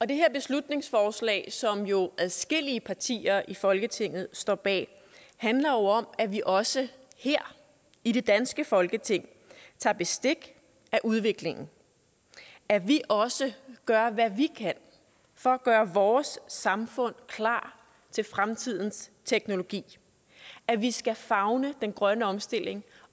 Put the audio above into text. det her beslutningsforslag som jo adskillige partier i folketinget står bag handler om at vi også her i det danske folketing tager bestik af udviklingen at vi også gør hvad vi kan for at gøre vores samfund klar til fremtidens teknologi at vi skal favne den grønne omstilling